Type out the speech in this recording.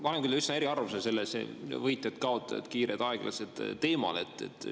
Ma olen küll üsna eriarvamusel selle võitjad-kaotajad, kiired-aeglased teema puhul.